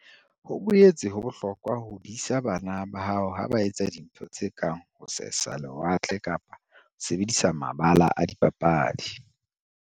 Ho boetse ho bohlokwa ho disa bana ba hao ha ba etsa dintho tse kang ho sesa lewatle kapa ho sebedisa mabala a dipapadi.